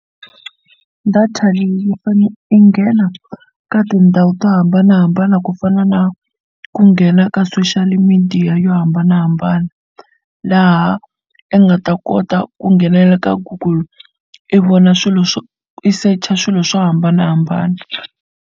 Data leyi i nghena ka tindhawu to hambanahambana ku fana na ku nghena ka social media yo hambanahambana laha i nga ta kota ku nghenelela ka Google i vona swilo swo i secha swilo swo hambanahambana.